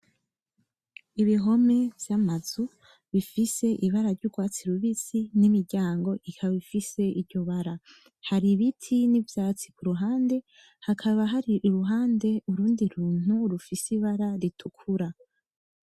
Ibihome vy'amazu bifise ibara ry'urwatsi rubisi n'imiryango ikaba ifise iryo bara, hari ibiti n'ivyatsi kuruhande hakaba hari iruhande urundi runtu rufise ibara ritukura.